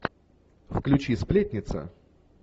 включи сплетница